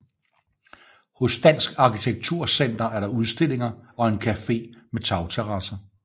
Hos Dansk Arkitektur Center er der udstillinger og en café med tagterrasser